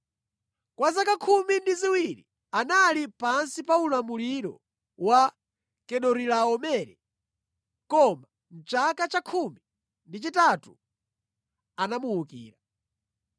Kwa zaka khumi ndi ziwiri anali pansi pa ulamuliro wa Kedorilaomere, koma mʼchaka cha khumi ndi chitatu anamuwukira.